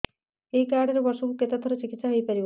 ଏଇ କାର୍ଡ ରେ ବର୍ଷକୁ କେତେ ଥର ଚିକିତ୍ସା ହେଇପାରିବ